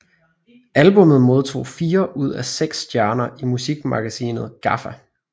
Albummet modtog fire ud af seks stjerner i musikmagasinet GAFFA